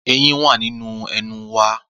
Eyín wá nínú ẹnu wa.